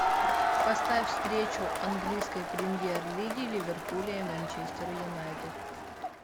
поставь встречу английской премьер лиги ливерпуля и манчестер юнайтед